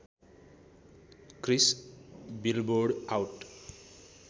Chris billboard out